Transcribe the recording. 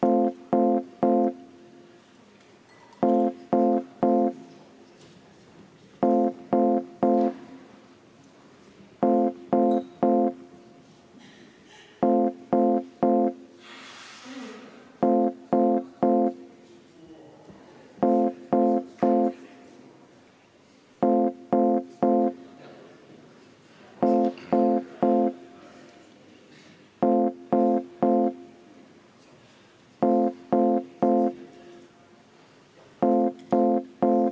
Austatud Riigikogu, kuna eelnõu 589 vastuvõtmiseks on vaja Riigikogu koosseisu häälteenamust, siis teeme palun kohaloleku kontrolli.